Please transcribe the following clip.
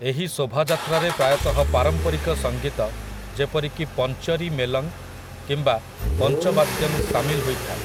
ଏହି ଶୋଭାଯାତ୍ରାରେ ପ୍ରାୟତଃ ପାରମ୍ପରିକ ସଙ୍ଗୀତ ଯେପରିକି ପଞ୍ଚରୀ ମେଲଂ କିମ୍ବା ପଞ୍ଚବାଦ୍ୟଂ ସାମିଲ ହୋଇଥାଏ ।